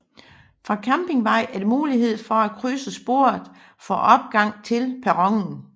Fra Campingvej er der mulighed for at krydse sporet for opgang til perronen